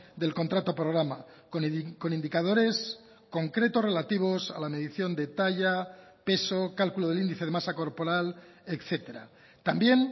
del contrato programa con indicadores concretos relativos a la medición de talla peso cálculo del índice de masa corporal etcétera también